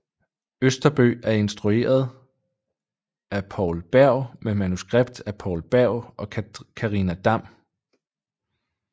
Østerbøg og instrueret af Poul Berg med manuskript af Poul Berg og Karina Dam